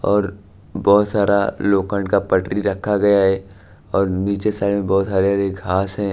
और बहोत सारा लोकंड का पटरी रक्खा गया है और नीचे साइड में बहोत हरे-हरे घास हैं।